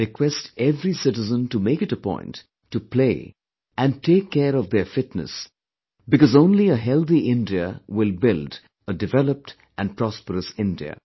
I request every citizen to make it a point to play and take care of their fitness because only a healthy India will build a developed and prosperous India